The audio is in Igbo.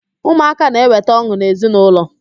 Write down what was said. Ụmụaka na-eweta ọn̄ụ n'ezi na ụlọ